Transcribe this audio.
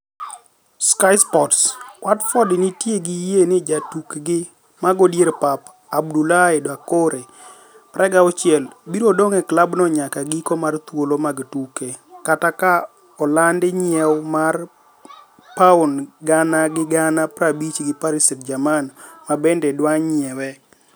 (Sky Sports) Watford nitie gi yie ni jatukgi mago dier pap Abdoulaye Doucoure, 26, biro dong' e klab no nyaka giko mar thuolo mag tuke, kata ka oland nyiew mar pauni gana gi gana 50 gi Paris St-Germain mabende dwa nyiewe.